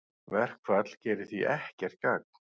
Verkfall gerir því ekkert gagn